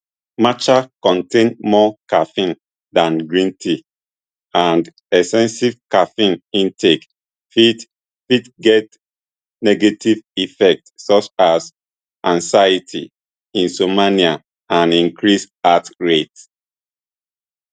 matcha contain more caffeine dan green tea and excessive caffeine intake fit fit get negative effect such as anxiety insomnia and increased heart rate